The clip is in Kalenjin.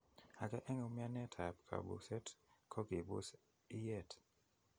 Ake eng' umianet ab kabuseet ko kibuus iyeet